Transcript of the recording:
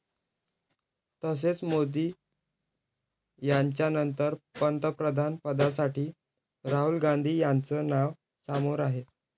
तसेच मोदी यांच्यानंतर पंतप्रधानपदासाठी राहुल गांधी यांचं नाव समोर आहे.